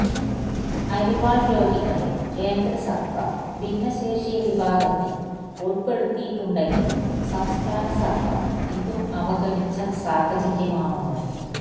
അരിവാള് രോഗികളെ കേന്ദ്ര സര്ക്കാര് ഭിന്നശേഷി വിഭാഗത്തില് ഉള്പെടുത്തിയിട്ടുണ്ടെങ്കിലും സംസ്ഥാന സര്ക്കാര് ഇതും അവഗണിച്ച സാഹചര്യമാണുള്ളത്